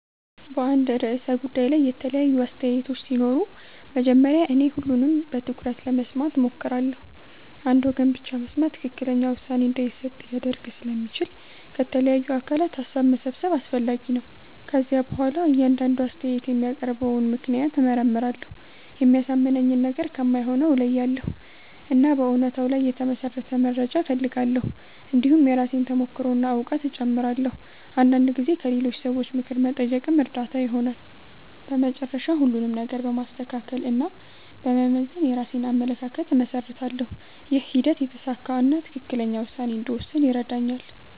በአንድ ርዕሰ ጉዳይ ላይ የተለያዩ አስተያየቶች ሲኖሩ መጀመሪያ እኔ ሁሉንም በትኩረት ለመስማት እሞክራለሁ። አንድ ወገን ብቻ መስማት ትክክለኛ ውሳኔ እንዳይሰጥ ሊያደርግ ስለሚችል ከተለያዩ አካላት ሀሳብ መሰብሰብ አስፈላጊ ነው። ከዚያ በኋላ እያንዳንዱ አስተያየት የሚያቀርበውን ምክንያት እመርመራለሁ። የሚያሳምነኝን ነገር ከማይሆነው እለያያለሁ፣ እና በእውነታ ላይ የተመሠረተ መረጃ እፈልጋለሁ። እንዲሁም የራሴን ተሞክሮ እና እውቀት እጨምራለሁ። አንዳንድ ጊዜ ከሌሎች ሰዎች ምክር መጠየቅም እርዳታ ይሆናል። በመጨረሻ ሁሉንም ነገር በማስተካከል እና በመመዘን የራሴን አመለካከት እመሰርታለሁ። ይህ ሂደት የተሳካ እና ትክክለኛ ውሳኔ እንድወስን ይረዳኛል።